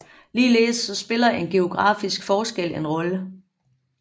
Ligeledes spiller geografiske forskelle en rolle